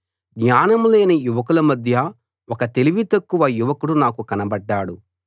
జ్ఞానం లేని యువకుల మధ్య ఒక తెలివి తక్కువ యువకుడు నాకు కనబడ్డాడు